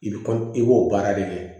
I bi kɔ i b'o baara de kɛ